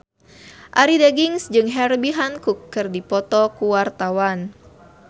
Arie Daginks jeung Herbie Hancock keur dipoto ku wartawan